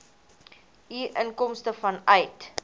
u inkomste vanuit